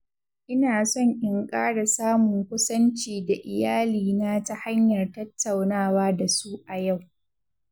Ina son in ƙara samun kusanci da iyalina ta hanyar tattaunawa da su a yau.